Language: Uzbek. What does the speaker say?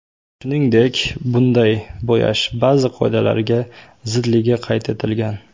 Shuningdek, bunday bo‘yash ba’zi qoidalarga zidligi qayd etilgan.